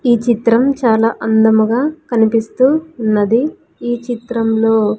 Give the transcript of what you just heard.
ఈ చిత్రం చాలా అందముగా కనిపిస్తూ ఉన్నది ఈ చిత్రంలో--